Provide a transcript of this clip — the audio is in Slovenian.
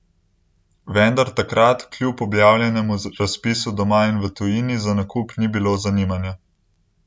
Vendar takrat kljub objavljenemu razpisu doma in v tujini za nakup ni bilo zanimanja.